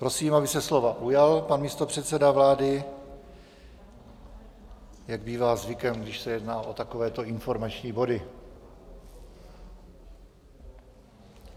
Prosím, aby se slova ujal pan místopředseda vlády, jak bývá zvykem, když se jedná o takovéto informační body.